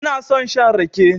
Ina son shan rake.